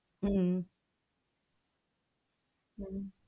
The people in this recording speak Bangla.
হম হম,